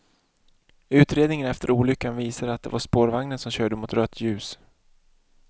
Utredningen efter olyckan visar att det var spårvagnen som körde mot rött ljus.